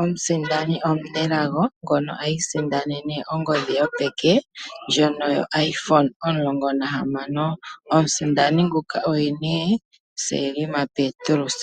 omusindani omunelago ngono isindanene ongodhi yopeke ndjono yo Iphone 16 Pro. Omusindani nguka oye Selma Petrus.